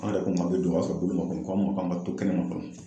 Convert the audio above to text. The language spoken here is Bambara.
An yɛrɛ ko k'an be don ,o y'a sɔrɔ bolo ma ko,o k'an ma k'anka to kɛnɛma fɔlɔ.